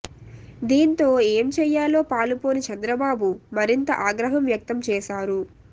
దీంతో ఏం చెయ్యాలో పాలుపోని చంద్రబాబు మరింత ఆగ్రహం వ్యక్తం చేశారు